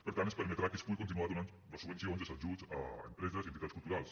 per tant es permetrà que es pugui continuar donant les subvencions els ajuts a empreses i entitats culturals